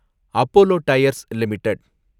Apollo Tyres limited